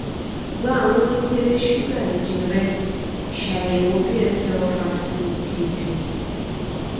gba awọn ipele suga ẹjẹ rẹ ṣayẹwo bsl fasting pp